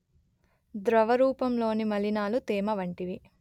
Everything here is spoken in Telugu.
ద్రవరూపంలోని మలినాలు తేమ వంటివి